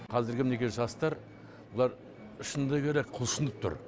қазіргі мінекей жастар бұлар шыны керек құлшынып тұр